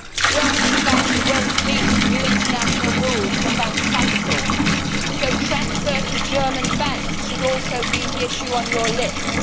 Germany's banks will not meet new international rules for bank capital, so transfer to German banks should also be the issue on your lips.